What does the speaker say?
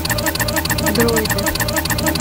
дроиды